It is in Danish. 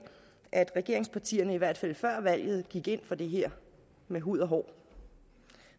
at regeringspartierne i hvert fald før valget gik ind for det her med hud og hår